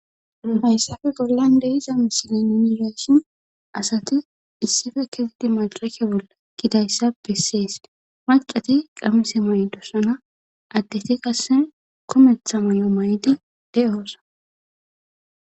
Nu hayssafe bollan de'iza misilin nuni beyishin asati issife kezidi madrake bolla eqidayssa besseesi macati qamise mayidossana addeti qase kumetha mayo mayidi de'oosana